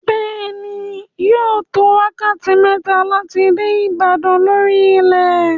Bẹ́ẹ̀ ni, yóò tó wákàtí mẹ́ta láti dé Ìbàdàn lórí ilẹ̀.